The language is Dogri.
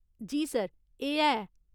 जी सर, एह् है।